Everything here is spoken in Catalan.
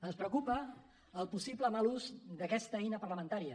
ens preocupa el possible mal ús d’aquesta eina parlamentària